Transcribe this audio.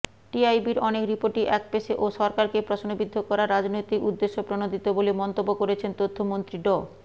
টিআইবির অনেক রিপোর্টই একপেশে ও সরকারকে প্রশ্নবিদ্ধ করার রাজনৈতিক উদ্দেশ্যপ্রণোদিত বলে মন্তব্য করেছেন তথ্যমন্ত্রী ড